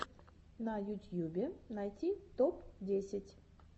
на ютьюбе найти топ десять